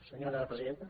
senyora presidenta